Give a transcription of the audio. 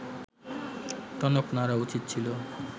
টনক নড়া উচিত ছিল